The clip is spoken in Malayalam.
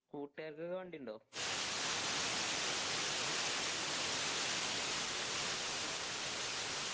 കൂട്ടുകാർക്കൊക്കെ വണ്ടിയുണ്ടോ